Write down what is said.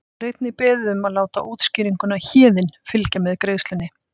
Þá er einnig beðið um að láta útskýringuna Héðinn fylgja með greiðslunni.